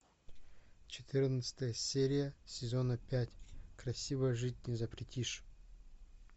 четырнадцатая серия сезона пять красиво жить не запретишь